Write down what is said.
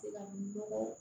Se ka nɔgɔ